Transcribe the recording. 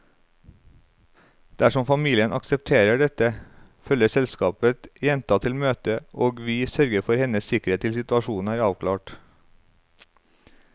Dersom familien aksepterer dette, følger selskapet jenta til møtet, og vi sørger for hennes sikkerhet til situasjonen er avklart.